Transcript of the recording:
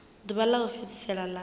ḓuvha ḽa u fhedzisela ḽa